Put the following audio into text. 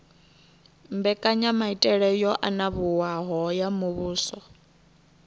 mbekanyamaitele yo anavhuwaho ya muvhuso